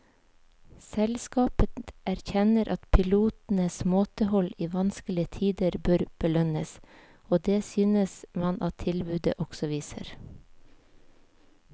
Selskapet erkjenner at pilotenes måtehold i vanskelige tider bør belønnes, og det synes man at tilbudet også viser.